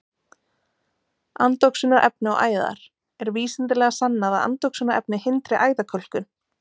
Andoxunarefni og æðar: Er vísindalega sannað að andoxunarefni hindri æðakölkun?